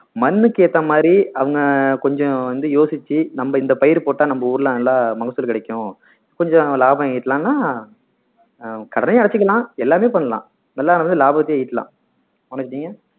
மண்ணுக்கு ஏத்த மாதிரி அவங்க கொஞ்சம் வந்து யோசிச்சு நம்ப இந்த பயிர் போட்டா நம்ம ஊர்ல நல்லா மகசூல் கிடைக்கும் கொஞ்சம் லாபம் ஈட்டலாம்னா ஆஹ் கடனையும் அடைச்சிக்கலாம் எல்லாமே பண்ணலாம் எல்லாரும் வந்து லாபத்தையே ஈட்டலாம் மனோஜ் நீங்க